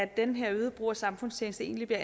den her øgede brug af samfundstjeneste egentlig bliver